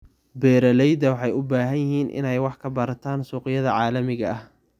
Beeralayda waxay u baahan yihiin inay wax ka bartaan suuqyada caalamiga ah.